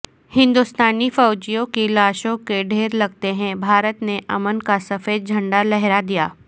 ہندوستانی فوجیوں کی لاشوں کے ڈھیر لگتے ہی بھارت نے امن کا سفید جھنڈا لہرادیا